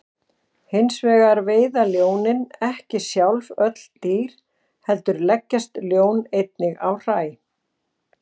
Hins vegar veiða ljónin ekki sjálf öll þessi dýr heldur leggjast ljón einnig á hræ.